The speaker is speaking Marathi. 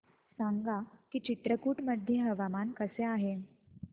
सांगा की चित्रकूट मध्ये हवामान कसे आहे